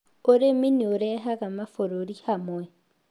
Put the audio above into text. Ũrĩmi nĩ ũrehaga mabũrũri hamwe